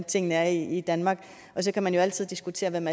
tingene er i danmark og så kan man jo altid diskutere hvem